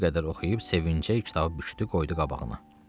Bir qədər oxuyub sevincə kitabı bükdü, qoydu qabağına.